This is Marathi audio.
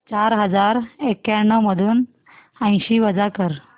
चार हजार एक्याण्णव मधून ऐंशी वजा कर